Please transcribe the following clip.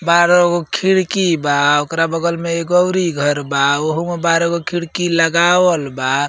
बारह गो खिड़की बा। ओकरा बगल मे एगो औरी घर बा। ओहोमे बारह गो खिड़की लगावल बा।